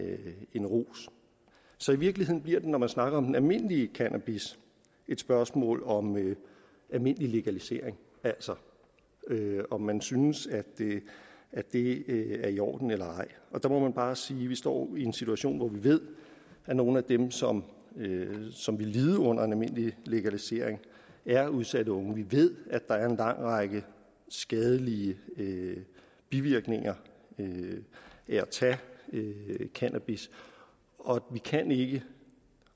en rus så i virkeligheden bliver det når man snakker om den almindelige cannabis et spørgsmål om almindelig legalisering altså om man synes at det er i orden eller ej og der må man bare sige at vi står i en situation hvor vi ved at nogle af dem som som vil lide under en almindelig legalisering er udsatte unge vi ved at der er en lang række skadelige bivirkninger ved at tage cannabis og vi kan ikke